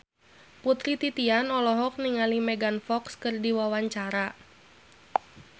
Putri Titian olohok ningali Megan Fox keur diwawancara